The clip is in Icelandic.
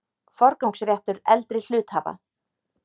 Forgangsréttur eldri hluthafa.